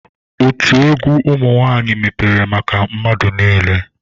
Otu egwu ụmụ nwaanyị mepere maka mmadụ niile.